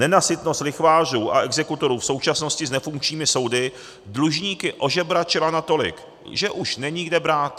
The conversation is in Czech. Nenasytnost lichvářů a exekutorů v současnosti s nefunkčními soudy dlužníky ožebračila natolik, že už není kde brát.